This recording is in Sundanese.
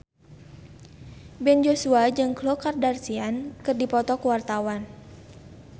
Ben Joshua jeung Khloe Kardashian keur dipoto ku wartawan